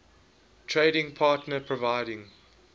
trading partner providing